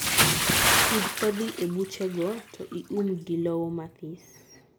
pidh kodhi e buchego toium gi lowo mathis.